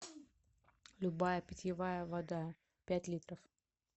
любая питьевая вода пять литров